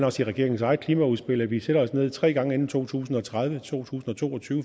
også i regeringens eget klimaudspil at vi sætter os ned tre gange inden to tusind og tredive i to tusind og to og tyve